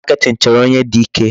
Marketing chọrọ onye dị ike.